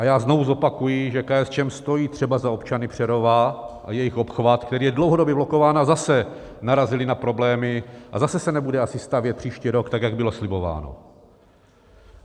A já znovu zopakuji, že KSČM stojí třeba za občany Přerova, a jejich obchvat, který je dlouhodobě blokován, a zase narazili na problémy a zase se nebude asi stavět příští rok, tak jak bylo slibováno.